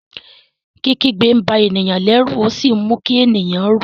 Kikigbe nba eniyan lérù o si mú kí ènìyàn rú.